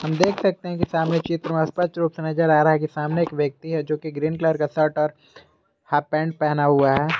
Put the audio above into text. देख सकते हैं कि सामने चित्र से नजर आ रहा है कि सामने एक व्यक्ति है जो कि ग्रीन कलर का शर्ट और हाफ पैंट पहना हुआ है।